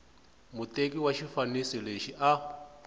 muteki wa xifaniso lexi a